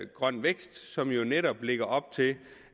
grøn vækst som jo netop lægger op til